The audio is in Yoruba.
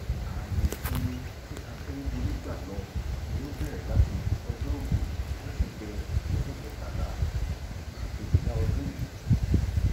ààyè ìsinmi tí akérèdọlù gbà lọ ni ó bẹrẹ láti ọjọrùú wíṣídẹẹ ọjọ kẹtàlá oṣù kejìlá ọdún yìí